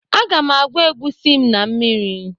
a ga m agwa egusi m na mmiri